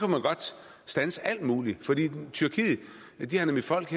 man godt standse alt muligt for tyrkiet har nemlig folk